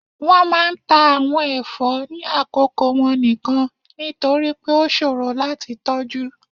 wọn máà ń ta awon ẹfọ ni akoko wọn nikan, nitori pe o ṣoro lati tọju.